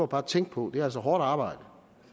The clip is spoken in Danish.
bare tænke på det er altså hårdt arbejde